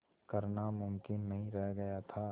करना मुमकिन नहीं रह गया था